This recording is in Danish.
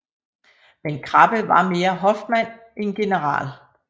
Men Krabbe var mere hofmand end general